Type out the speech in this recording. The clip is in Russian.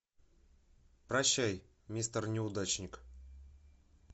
прощай мистер неудачник